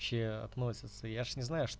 ще относятся я ж не знаю что